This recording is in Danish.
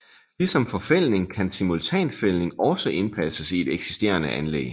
Ligesom forfældning kan simultanfældning også indpasses i et eksisterende anlæg